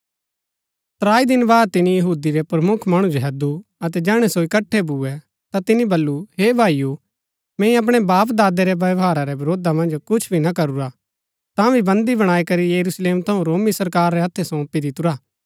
त्राई दिन बाद तिनी यहूदी रै प्रमुख मणु जो हैदु अतै जैहणै सो इकट्ठै भूए ता तिनी बल्लू हे भाईओ मैंई अपणै बापदादे रै व्यवहारा रै वरोधा मन्ज कुछ भी ना करूरा तांभी बन्दी बणाई करी यरूशलेम थऊँ रोमी सरकार रै हत्थै सोंपी दितुरा